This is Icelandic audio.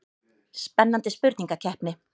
Spennandi spurningakeppni.